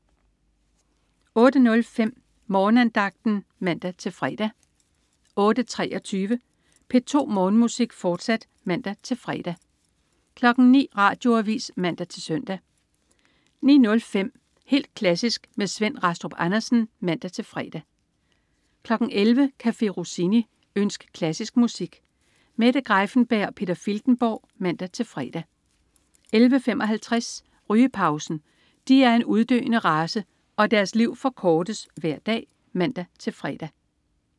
08.05 Morgenandagten (man-fre) 08.23 P2 Morgenmusik, fortsat (man-fre) 09.00 Radioavis (man-søn) 09.05 Helt klassisk med Svend Rastrup Andersen (man-fre) 11.00 Café Rossini. Ønsk klassisk musik. Mette Greiffenberg og Peter Filtenborg (man-fre) 11.55 Rygepausen. De er en uddøende race, og deres liv forkortes hver dag (man-fre)